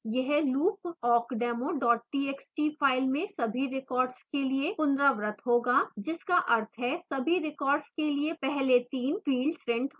यह loop awkdemo txt file में सभी records के लिए पुनरावृत होगा जिसका अर्थ है सभी records के लिए पहले 3 फिल्ड्स प्रिंट होंगे